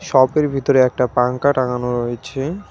শপের ভিতরে একটা পাঙ্খা টাঙানো রয়েছে।